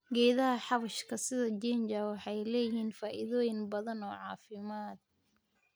Geedaha xawaashka sida ginger waxay leeyihiin faa'iidooyin badan oo caafimaad.